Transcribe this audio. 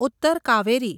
Uttar Kaveri